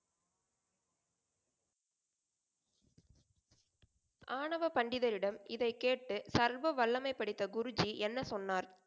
ஆணவ பண்டிதர் இடம் இதை கேட்டு சர்வ வல்லமை படைத்த குரு ஜி என்ன சொன்னார்?